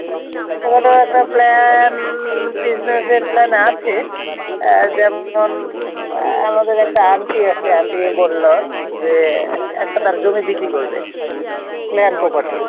দাদা একটা plan business-র plan আছে যেমন আমাদের একটা aunty আছে aunty বলল যে একটা তার জমি বিক্রি করবে নয়ন Properties